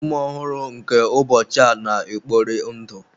Ụmụ ọhụrụ nke ụbọchị a na-ekpori ndụ.